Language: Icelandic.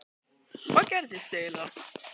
Hvað gerðist eiginlega??